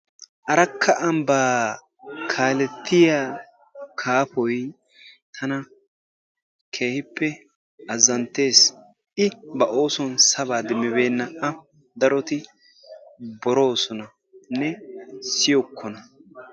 Arakka ambba kaaletiya kaafoy tana keehippe azzantees. I ba oosuwan sabba demmibeena. A daroti borossonanne siyyookkona.